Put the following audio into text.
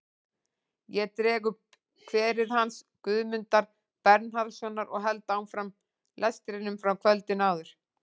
Ég dreg upp kverið hans Guðmundar Bernharðssonar og held áfram lestrinum frá kvöldinu áður.